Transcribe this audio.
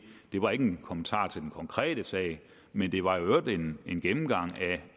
var en kommentar til den konkrete sag men det var i øvrigt en en gennemgang